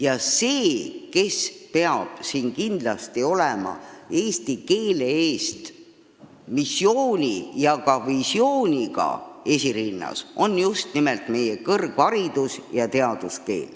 Just nimelt kõrgharidus ja teadus peavad siin kindlasti esirinnas olema – eesti keele eest missiooni ja ka visiooniga hoolt kandma.